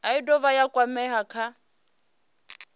i dovha ya kwamea kha